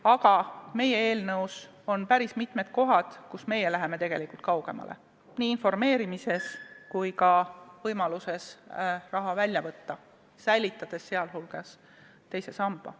Aga meie eelnõus on päris mitmed kohad, kus meie läheme tegelikult kaugemale, seda nii informeerimises kui ka võimaluses raha välja võtta, säilitades seejuures teise samba.